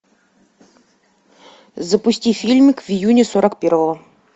запусти фильмик в июне сорок первого